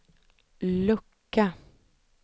lucka